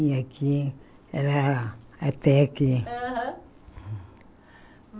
E aqui, era até aqui. Aham